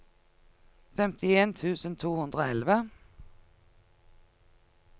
femtien tusen to hundre og elleve